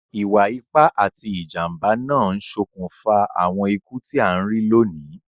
Ìwa ipá ati ìjànbá náà n sokùnfà àwon ikú ti a n ri loní